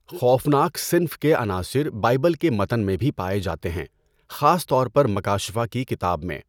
خوفناک صنف کے عناصر بائبل کے متن میں بھی پائے جاتے ہیں، خاص طور پر مکاشفہ کی کتاب میں۔